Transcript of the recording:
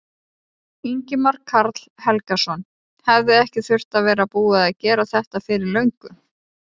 Ingimar Karl Helgason: Hefði ekki þurft að vera búið að gera þetta fyrir löngu?